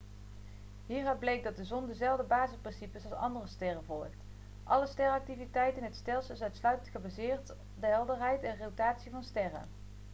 hieruit bleek dat de zon dezelfde basisprincipes als andere sterren volgt alle sterrenactiviteit in het stelsel is uitsluitend gebaseerd de helderheid en rotatie van de sterren